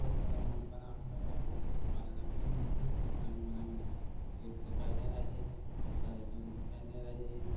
बहुत बड़ा मॉल बना हुआ है दुकान रंग बिरंगी गेट दिखाई दे रहा है बहुत सारे लोग दिखाई दे रहे हैं ।